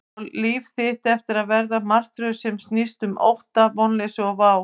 Á líf þitt eftir að verða martröð sem snýst um ótta, vonleysi og vá?